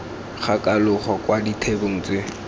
ga kalogo kwa ditheong tse